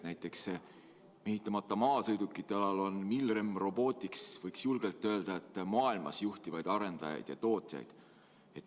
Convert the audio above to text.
Näiteks, mehitamata maasõidukite alal on Milrem Robotics, võiks julgelt öelda, maailmas üks juhtivaid arendajaid ja tootjaid.